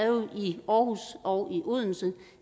jo i aarhus og i odense